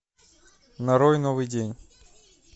нарой новый день